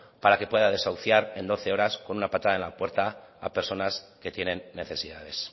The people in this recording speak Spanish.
para que pueda desahuciar en doce horas con una patada en la puerta a personas que tienen necesidades